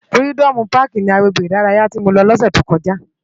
Fìrídòmú pàkí ni àgbégbé idàráyá ti mó lò lòsè tókòjá